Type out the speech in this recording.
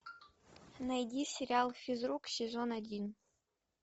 найди сериал физрук сезон один